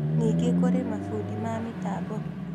Ningĩ kũrĩ mabundi ma mĩtambo